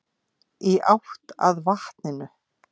Í átt að vatninu.